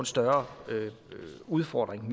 større udfordring